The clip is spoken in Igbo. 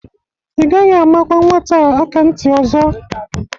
Ị gaghị amakwa nwata a aka ntị ọzọ!